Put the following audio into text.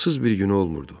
Dəvasız bir günü olmurdu.